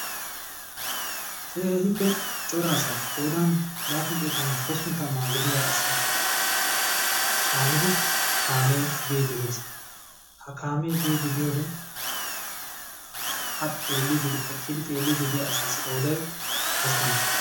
keehippe cora asaa qoodan lappun xeetanne hosppun tammaa gidiyaa aasa caanidi kaamee biiddi dees. ha kaamee biiddi diyoodee a xeelliiddi eqqidi xeelliddi diyaa asaa qooday hasttama.